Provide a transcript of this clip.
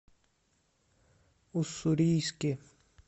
уссурийске